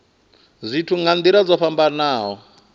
zwithu nga nila dzo fhambanaho